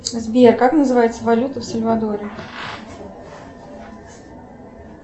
сбер как называется валюта в сальвадоре